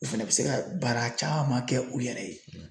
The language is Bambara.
U fɛnɛ bɛ se ka baara caman kɛ u yɛrɛ ye.